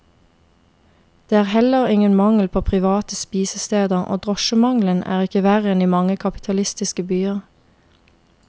Det er heller ingen mangel på private spisesteder, og drosjemangelen er ikke verre enn i mange kapitalistiske byer.